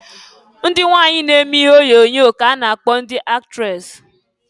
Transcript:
Ndị nwanyị na-eme ihe onyoonyo ka-a na-akpọ ndị aktres.